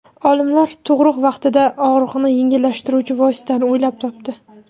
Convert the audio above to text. Olimlar tug‘ruq vaqtidagi og‘riqni yengillashtiruvchi vositani o‘ylab topdi.